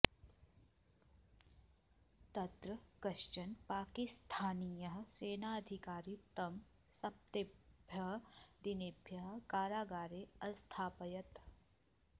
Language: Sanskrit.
तत्र कश्चन पाकिस्थानीयः सेनाधिकारी तं सप्तभ्यः दिनेभ्यः कारागारे अस्थापयत्